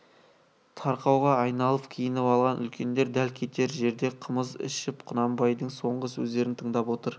тарқауға айналып киініп алған үлкендер дәл кетер жерде қымыз ішіп құнанбайдың соңғы сөздерін тыңдап отыр